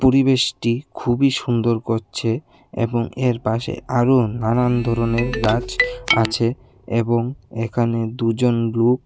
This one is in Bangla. পরিবেশটি খুবই সুন্দর করছে এবং এর পাশে আরু নানান ধরনের গাছ আছে এবং এখানে দুজন লুক--